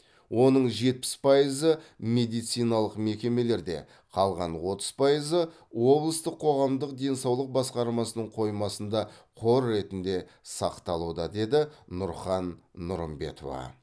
оның жетпіс пайызы медициналық мекемелерде қалған отыз пайызы облыстық қоғамдық денсаулық басқармасының қоймасында қор ретінде сақталуда деді нұрхан нұрымбетова